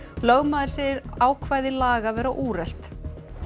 lögmaður segir ákvæði laga vera úrelt